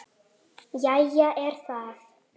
Jæja er það.